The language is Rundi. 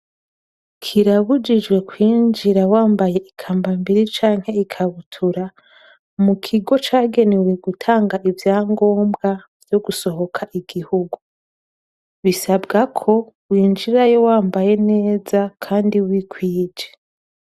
Kirabujijwe kwinjira wambaye ikambambiri canke ikabutura mukigo mukigo cagenewe gutanga ivyangombwa vyogusohoka igihugu bisabwako winjirayo wambaye neza kandi wikwije.